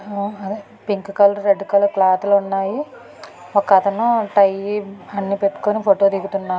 ఆ అదే pink colour red colour క్లాత్లు ఉన్నాయి. ఒకతను టై అన్ని పెట్టుకొని ఫోటో తిగుతున్నాడు.